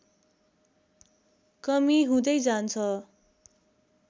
कमी हुँदैजान्छ